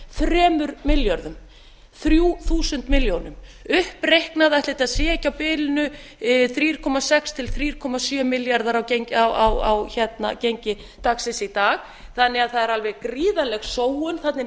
þremur milljörðum þrjú þúsund milljónum uppreiknað ætli þetta sé ekki á bilinu þrjú komma sex til þrjú komma sjö milljarðar á gengi dagsins í dag þannig að það er alveg gríðarleg sóun þarna inni í